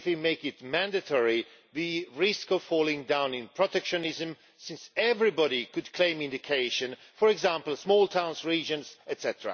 If we make it mandatory, we risk falling down in protectionism, since everybody could claim indication, for example, small towns, regions, etc.